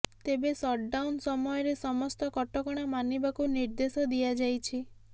ତେବେ ସଟ୍ଡାଉନ୍ ସମୟରେ ସମସ୍ତ କଟକଣା ମାନିବାକୁ ନିର୍ଦ୍ଦେଶ ଦିଆଯାଇଛି